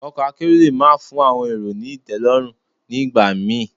Ọkọ̀ akérò le má fún àwọn èrò ni ìtẹ́lọ́rùn ní ìgbà mi.